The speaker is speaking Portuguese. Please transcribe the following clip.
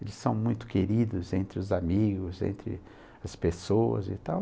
Eles são muito queridos entre os amigos, entre as pessoas e tal.